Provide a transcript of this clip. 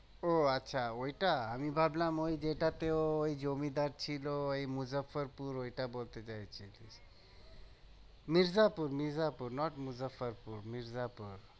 ও আচ্ছা ওইটা আমি ভাবলাম ওই যেটাতে ওই জমিদার ছিলো ওই মুজ্জাফার পুর ওইটা বলতে চাইছিলি মির্জাপুর মির্জাপুর not মুজ্জাফর পুর মির্জাপুর